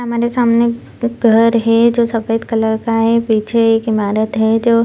हमारे सामने घर है जो सफेद कलर का है पीछे की इमारत है जो --